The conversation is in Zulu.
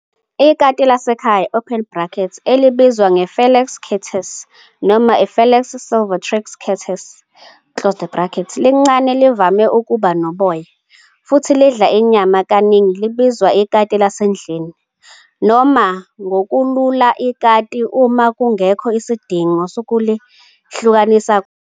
Ikati lasekhaya, elibizwa nge-Felis catus noma i-Felis silvestris catus, lincane, livame ukuba noboya, futhi lidla inyama. Kaningi libizwa ikati lasendlini, noma ngokulula ikati, uma ngungekho sidingo sokulihlukanisa kwamanye.